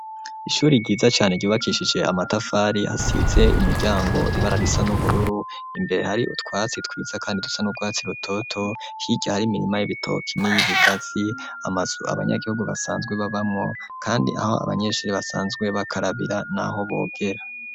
Ishuri ryiza cane ryubakishije amatafari hasize imiryango ibara risa n'ubururu imbere hari utwatsi twiza kandi dusa n'urwatsi rutoto hirya hari imirima y'ibitoki niyi bigatsi amazu abanyagihugu basanzwe babamwo kandi aho abanyeshuri basanzwe bakarabira naho bogera.